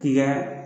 K'i ka